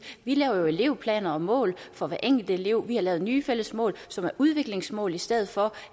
vi laver elevplaner og mål for hver enkelt elev vi har lavet nye fælles mål som er udviklingsmål i stedet for